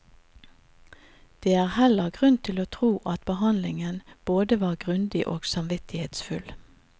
Det er heller grunn til å tro at behandlingen både var grundig og samvittighetsfull.